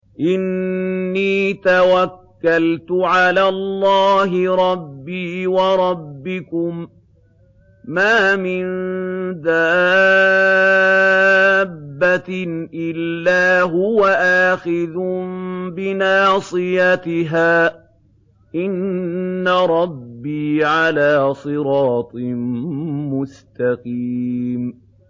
إِنِّي تَوَكَّلْتُ عَلَى اللَّهِ رَبِّي وَرَبِّكُم ۚ مَّا مِن دَابَّةٍ إِلَّا هُوَ آخِذٌ بِنَاصِيَتِهَا ۚ إِنَّ رَبِّي عَلَىٰ صِرَاطٍ مُّسْتَقِيمٍ